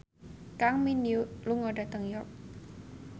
Kang Min Hyuk lunga dhateng York